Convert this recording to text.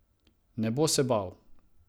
Ne bo se bal.